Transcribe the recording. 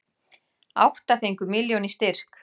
Átta fengu milljón í styrk